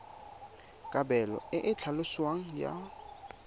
kabelo e e tlhaloswang ya